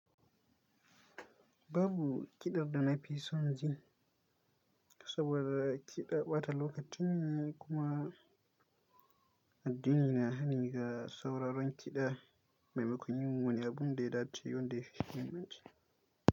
Babu kiɗan da nafi son jin saboda kiɗa ɓata lokaci ne kuma addini na hani ga sauraron kiɗa maimakon yin wani abunda ya dace wanda yafi shi himmanci.